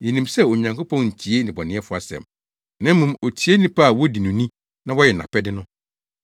Yenim sɛ Onyankopɔn ntie nnebɔneyɛfo asɛm; na mmom otie nnipa a wodi no ni na wɔyɛ nʼapɛde no.